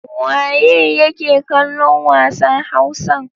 Waye yake kallon wasan Hausan?